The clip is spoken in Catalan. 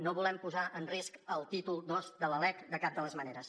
no volem posar en risc el títol ii de la lec de cap de les maneres